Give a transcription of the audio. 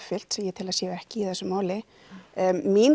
sem ég tel að séu ekki í þessu máli mín